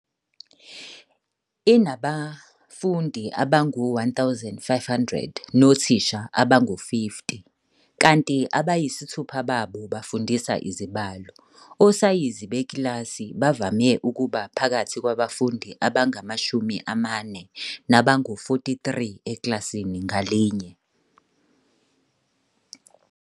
Inabafundi abangaba ngu-1 500 nothisha abangu-50, kanti abayisithupha babo bafundisa izibalo. Osayizi bekilasi bavame ukuba phakathi kwabafundi abangama-40 nabangu-43 ekilasini ngalinye.